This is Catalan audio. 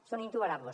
són intolerables